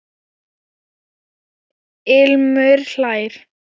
Ilmur hlær.